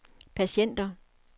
patienter